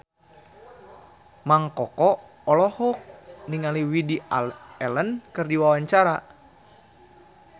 Mang Koko olohok ningali Woody Allen keur diwawancara